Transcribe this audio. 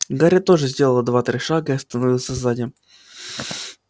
гарри тоже сделал два-три шага и остановился сзади